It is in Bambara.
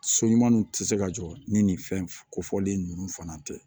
So ɲumanw tɛ se ka jɔ ni nin fɛnkofɔlen ninnu fana tɛ